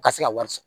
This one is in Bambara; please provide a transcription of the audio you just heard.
U ka se ka wari sɔrɔ